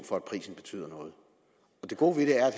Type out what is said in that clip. for at prisen betyder noget det gode ved det er